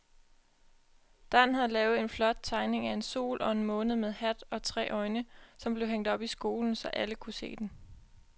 Dan havde lavet en flot tegning af en sol og en måne med hat og tre øjne, som blev hængt op i skolen, så alle kunne se den.